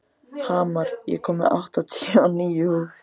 Hamar, ég kom með áttatíu og níu húfur!